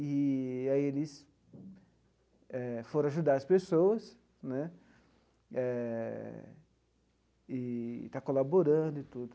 Eee aí eles eh foram ajudar as pessoas né, eh e está colaborando e tudo.